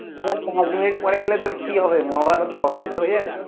just পাঁচ minute পরে গেলে তোর কি হবে, মহাভারত অশুদ্ধ হয়ে যাবে?